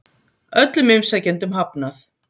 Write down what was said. Öllum umsækjendum hafnað